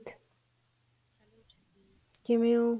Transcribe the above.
ਕਿਵੇਂ ਓ